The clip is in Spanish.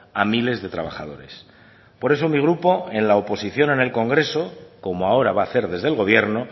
a miles de trabajadores por eso mi grupo en la oposición en el congreso como ahora va a hacer desde el gobierno